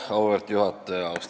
Auväärt juhataja!